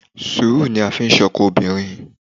Sùúrù ni a fi ń ṣọkọ obìnrin